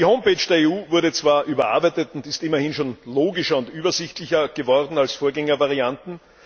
Die Homepage der EU wurde zwar überarbeitet und ist immerhin logischer und übersichtlicher geworden als Vorgängervarianten.